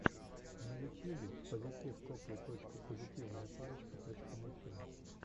на ютьюбе пазитив копл точка позитивная парочка точка мультфильм